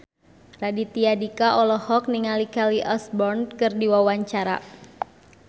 Raditya Dika olohok ningali Kelly Osbourne keur diwawancara